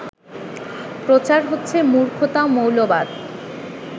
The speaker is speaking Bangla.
প্রচার হচ্ছে মূর্খতা মৌলবাদ